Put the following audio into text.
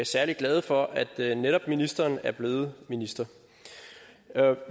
særlig glade for at netop ministeren er blevet minister